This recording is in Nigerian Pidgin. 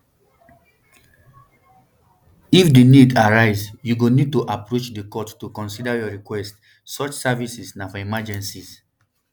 if di need arise you go need to approach di court to consider your request such services na for emergencies